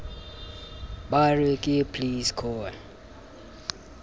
ba re ke please call